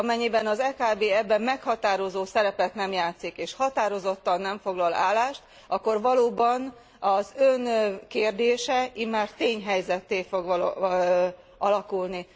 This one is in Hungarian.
Amennyiben az EKB ebben meghatározó szerepet nem játszik és határozottan nem foglal állást, akkor valóban, az Ön kérdése immár tényhelyzetté fog alakulni.